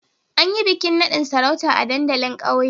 An yi bikin nadin sarauta a dandalin kauye